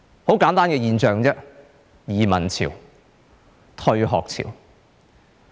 很簡單，移民潮、退學潮。